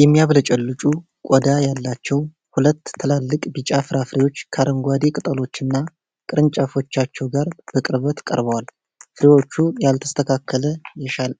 የሚያብለጨልጩ ቆዳ ያላቸው ሁለት ትላልቅ ቢጫ ፍራፍሬዎች ከአረንጓዴ ቅጠሎችና ቅርንጫፎች ጋር በቅርበት ቀርበዋል። ፍሬዎቹ ያልተስተካከለ፣